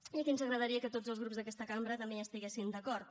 i aquí ens agradaria que tots els grups d’aquesta cambra també hi estiguessin d’acord